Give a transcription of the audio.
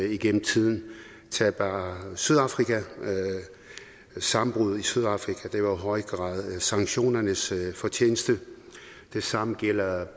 igennem tiden tag bare sydafrika sammenbruddet i sydafrika var i høj grad sanktionernes fortjeneste det samme gælder